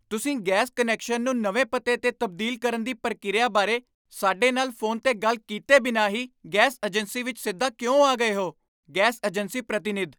ਤੁਸੀਂ gas connection ਨੂੰ ਨਵੇਂ ਪਤੇ 'ਤੇ ਤਬਦੀਲ ਕਰਨ ਦੀ ਪ੍ਰਕਿਰਿਆ ਬਾਰੇ ਸਾਡੇ ਨਾਲ ਫੋਨ 'ਤੇ ਗੱਲ ਕੀਤੇ ਬਿਨਾਂ ਹੀ ਗੈਸ ਏਜੰਸੀ ਵਿੱਚ ਸਿੱਧਾ ਕਿਉਂ ਆ ਗਏ ਹੋ? ਗੈਸ ਏਜੰਸੀ ਪ੍ਰਤੀਨਿਧ